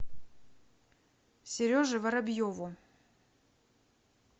сереже воробьеву